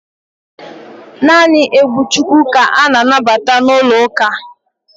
Naanị egwu Chukwu ka a na-anabata n'ụlọ uka